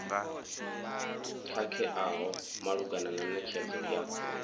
khakheaho malugana na netshedzo ya